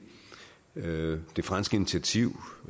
vil sige